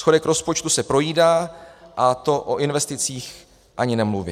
Schodek rozpočtu se projídá, a to o investicích ani nemluvě.